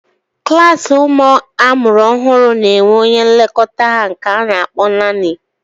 Klaasi ụmụ amụrụ ọhụụ n'enwe onye nlekọta ha nke a na akpọ naanị